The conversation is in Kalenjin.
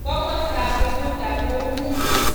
Komastab Bududa kou nee?